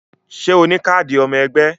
Ṣé o ní káàdì ọmọ ẹgbẹ́